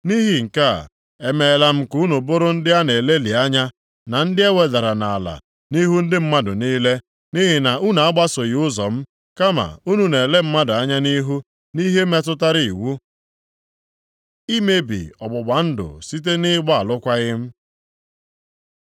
“Nʼihi nke a, emeela m ka unu bụrụ ndị a na-elelị anya, na ndị e wedara nʼala nʼihu ndị mmadụ niile, nʼihi na unu agbasoghị ụzọ m, kama unu na-ele mmadụ anya nʼihu, nʼihe metụtara iwu.” Imebi ọgbụgba ndụ site nʼịgba alụkwaghị m